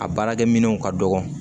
A baarakɛminɛnw ka dɔgɔ